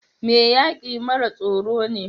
Mai yaki mara tsoro ne.